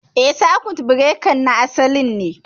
Eh, sakut birekan na asalin ne